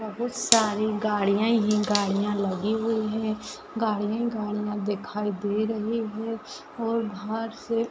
बहुत सारी गाड़िया ही गाड़िया लगी हुई है गाड़िया ही गाड़िया दिखाई दे रही है और बाहर से --